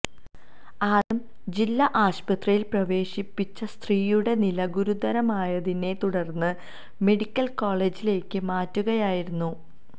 ആദ്യം ജില്ലാ ആശുപത്രിയില് പ്രവേശിപ്പിച്ച സ്ത്രീയുടെ നില ഗുരുതരമായതിനെത്തുടര്ന്ന് മെഡിക്കല് കോളജിലേക്ക് മാറ്റുകയായിരുന്നു